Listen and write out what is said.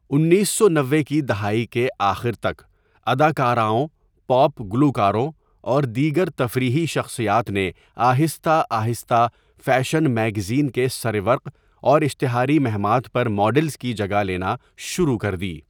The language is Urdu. انیس سو نوے کی دہائی کے آخر تک، اداکاراؤں، پاپ گلوکاروں، اور دیگر تفریحی شخصیات نے آہستہ آہستہ فیشن میگزین کے سرورق اور اشتہاری مہمات پر ماڈلز کی جگہ لینا شروع کر دی۔